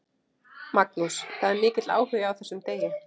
Magnús: Það er mikill áhugi á þessum degi?